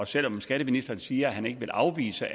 selv om skatteministeren siger at han ikke vil afvise